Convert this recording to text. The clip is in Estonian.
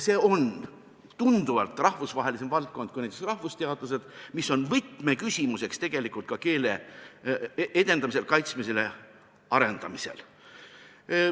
See on tunduvalt rahvusvahelisem valdkond kui näiteks rahvusteadused, mis tegelikult on võtmeküsimuseks ka keele edendamisel, kaitsmisel ja arendamisel.